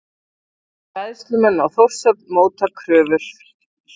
Bræðslumenn á Þórshöfn móta kröfur